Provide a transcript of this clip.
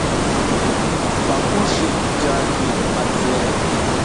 покушай идеальный пациент